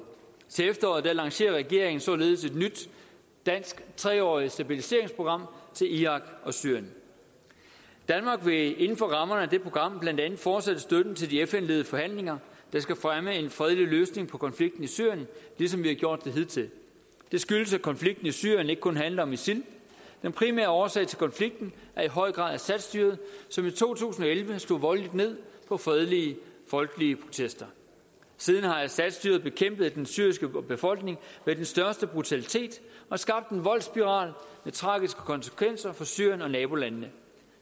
til efteråret lancerer regeringen således et nyt dansk tre årig t stabiliseringsprogram til irak og syrien danmark vil inden for rammerne af det program blandt andet fortsætte støtten til de fn ledede forhandlinger der skal fremme en fredelig løsning på konflikten i syrien ligesom vi har gjort det hidtil det skyldes at konflikten i syrien ikke kun handler om isil den primære årsag til konflikten er i høj grad assadstyret som i to tusind og elleve slog voldeligt ned på fredelige folkelige protester siden har assadstyret bekæmpet den syriske befolkning med den største brutalitet og skabt en voldsspiral med tragiske konsekvenser for syrien og nabolandene